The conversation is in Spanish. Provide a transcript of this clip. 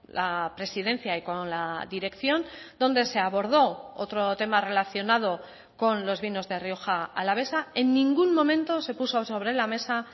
la presidencia y con la dirección donde se abordó otro tema relacionado con los vinos de rioja alavesa en ningún momento se puso sobre la mesa